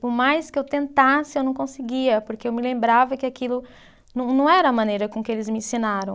Por mais que eu tentasse, eu não conseguia, porque eu me lembrava que aquilo não não era a maneira com que eles me ensinaram.